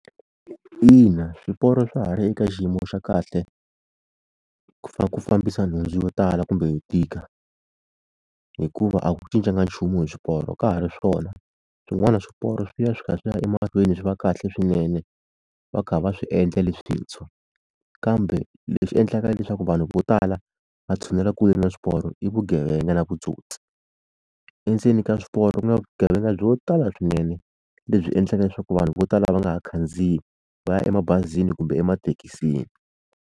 Ina swiporo swa ha ri eka xiyimo xa kahle ku ku fambisa nhundzu yo tala kumbe yo tika hikuva a ku cincanga nchumu hi swiporo ka ha ri swona swin'wana swiporo swi ya swi kha swi ya emahlweni swi va kahle swinene va kha va swi endla leswintshwa kambe leswi endlaka leswaku vanhu vo tala va tshunela kule na swiporo i vugevenga na vutsotsi, endzeni ka swiporo ku na vugevenga byo tala swinene lebyi endlaka leswaku vanhu vo tala va nga ha khandziyi va ya emabazini kumbe emathekisini.